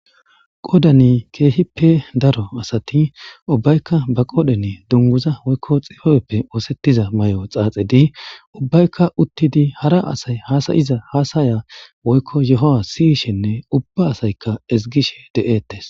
Qodani keehippe daro asati ubbaykka ba qodani dunguza woykko xibebeppe oosettiza mayo xaaxedi ubbaykka uttidi hara asay hasayiza hasaya woykko yoha siyishenne ubba asayka deettes.